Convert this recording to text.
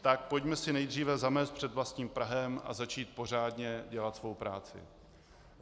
Tak pojďme si nejdříve zamést před vlastním prahem a začít pořádně dělat svou práci!